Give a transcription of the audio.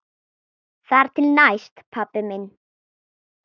Þar til næst, pabbi minn.